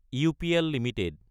UPL Ltd